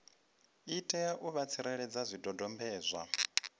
itela u vha tsireledza zwidodombedzwa